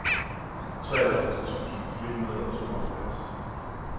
treoghalvtreds tusind fire hundrede og tooghalvfjerds